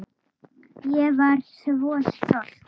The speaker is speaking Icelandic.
Ég var svo stolt.